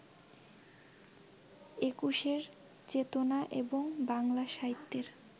একুশের চেতনা এবং বাংলা সাহিত্যের